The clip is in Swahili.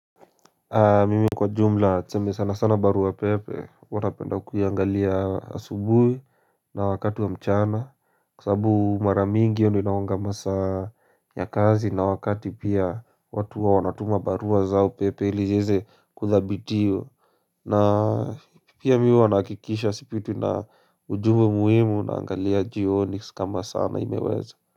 Mimi kwa jumla tuseme sana sana barua pepe huwa napenda kuiangalia asubui na wakati wa mchana. Kwa sababu mara mingi hiyo ndo inawanga masaa ya kazi na wakati pia watu huwa wanatuma barua zao pepe ili ziweze kuthabitiwa. Na pia mi huwa nahakikisha sipitwi na ujumbe muhimu naangalia jioni kama sana imeweza.